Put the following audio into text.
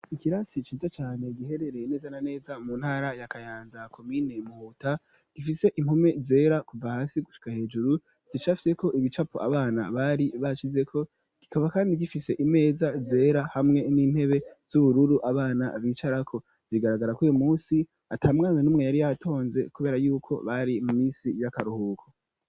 ikirasi ciza cane giherereye neza na neza mu ntara ya kayanza komine muhuta gifise impome zera kuva hasi gushika hejuru zicafyeko ibicapo abana bari bashizeko kikaba kandi gifise imeza zera hamwe n'intebe z'ubururu abana bicarako bigaragara ko uyu munsi atamwana n'umwe yari yatonze kubera yuko bari mu misi y'akaruhuko